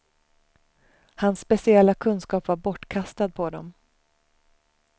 Hans speciella kunskap var bortkastad på dem.